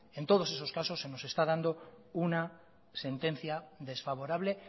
en todos esos casos se nos está dando una sentencia desfavorable